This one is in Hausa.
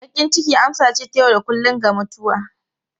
Bakin ciki amsa ce ta yau da kullun ga mutuwa.